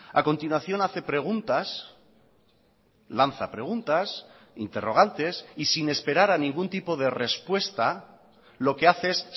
a continuación hace preguntas lanza preguntas interrogantes y sin esperar a ningún tipo de respuesta lo que hace es